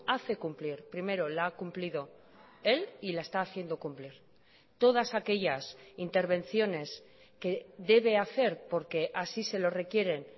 hace cumplir primero la ha cumplido él y la está haciendo cumplir todas aquellas intervenciones que debe hacer por que así se lo requieren